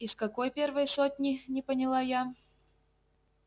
из какой первой сотни не поняла я